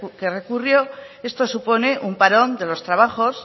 que recurrió esto supone un parón de los trabajos